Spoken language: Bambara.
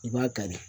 I b'a kari